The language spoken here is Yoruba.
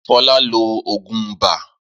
Fọlá lo òògùn ibà?